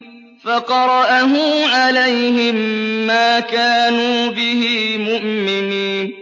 فَقَرَأَهُ عَلَيْهِم مَّا كَانُوا بِهِ مُؤْمِنِينَ